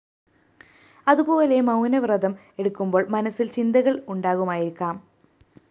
അതുപോലെ മൗനവ്രതം എടുക്കുമ്പോള്‍ മനസ്സില്‍ ചിന്തകള്‍ ഉണ്ടാകുമായിരിക്കാം